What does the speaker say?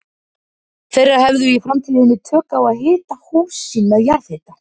þeirra hefðu í framtíðinni tök á að hita hús sín með jarðhita.